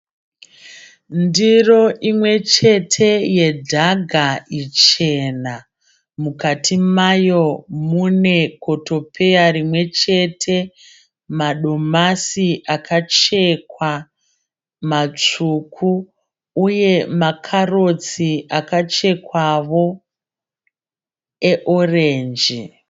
Ndiro imwe chete yedhaga ichena. Mukati mayo mune kotopeya rimwe chete, madomasi akachekwa matsvuku uye makarotsi akchekwevo eorenji.